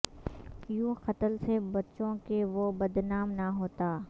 یوں قتل سے بچوں کے وہ بد نام نہ ہوتا